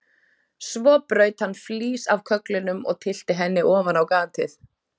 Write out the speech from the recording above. Svo braut hann flís af kögglinum og tyllti henni ofan á gatið.